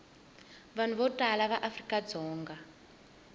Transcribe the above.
vanhu vo tala va afrikadzonga